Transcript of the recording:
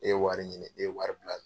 E ye wari ɲini e ye wari bila